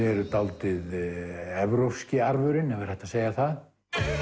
eru dálítið evrópski arfurinn ef er hægt að segja það